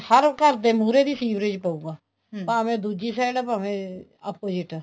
ਹਰ ਘਰ ਦੇ ਮਹੁਰੇ ਦੀ ਸੀਵਰੇਜ ਪਉਗਾ ਭਾਵੇਂ ਦੂਜੀ side ਪਵੇ opposite